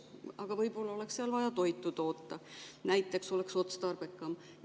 Aga võib-olla oleks seal vaja toitu toota, oleks ka otstarbekam.